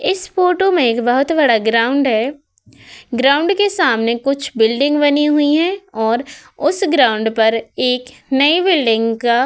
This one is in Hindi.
इस फोटो मैं बोहोत बड़ा ग्राउंड है। ग्राउंड के सामने एक बिल्डिंग बनी हुई है और उस ग्राउंड पर नयी बिल्डिंग का --